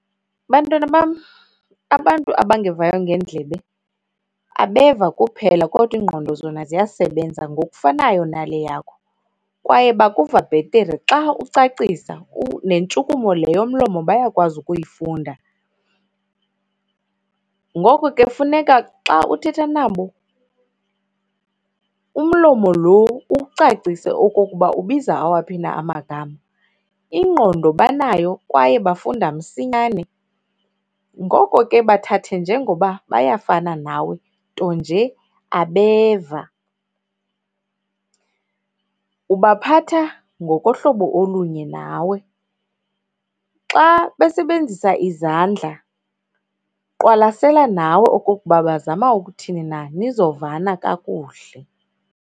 Bantwana bam, abantu abangevayo ngeendlebe abeva kuphela kodwa iingqondo zona ziyasebenza ngokufanayo nale yakho kwaye bakuva bhetere xa ucacisa, nentshukumo le yomlomo bayakwazi ukuyifunda. Ngoko ke kufuneka xa uthetha nabo umlomo lo uwucacise okokuba ubiza awaphi na amagama. Ingqondo banayo kwaye bafunda msinyane, ngoko ke bathathe njengoba bayafana nawe nto nje abeva. Ubaphatha ngokohlobo olunye nawe. Xa besebenzisa izandla, qwalasela nawe okukuba bazama ukuthini na nizovana kakuhle.